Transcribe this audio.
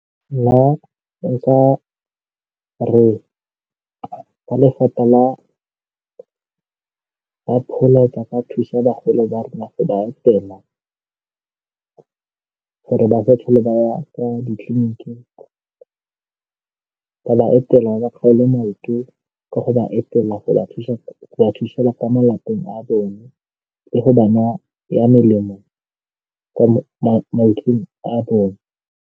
Nna nka re ba lefapha la pholo ba ka thusa bagolo ba rona ba etela gore ba fa tlhole ba ya kwa ditleliniking go ba etela maoto ka go ba etela go ba thusa go ba thusa ka mo lapeng a bone le go ba naya melemo kwa a bone.